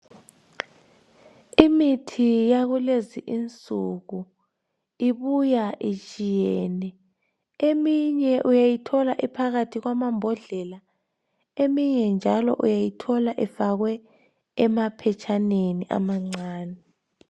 Imithi yakulezinsuku ibuya itshiyene eminye uyayithola iphakathi kwama mbodlela eminye njalo uyayithola ifakwe ema phetshaneni amancane.